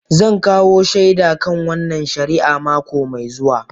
Zan kawo shaida kan wannan shari'a mako mai zuwa